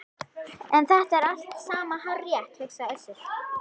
En þetta er allt saman hárrétt, hugsaði Össur.